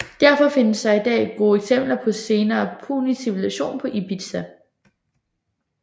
Derfor findes der i dag gode eksempler på senere punisk civilisation på Ibizia